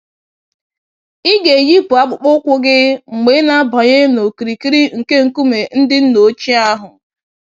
Ịga-eyipụ akpụkpọ ụkwụ gị mgbe ị na-abanye n'okirikiri nke nkume ndị nna ochie ahụ